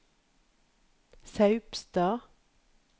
Saupstad